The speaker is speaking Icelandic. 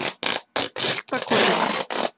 Holtakotum